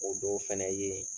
O dow fɛnɛ ye